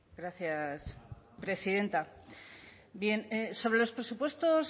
gracias presidenta bien sobre los presupuestos